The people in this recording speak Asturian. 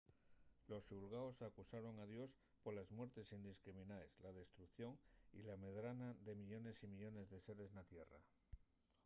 los xulgaos acusaron a dios poles muertes indiscriminaes la destrucción y la medrana de millones y millones de seres na tierra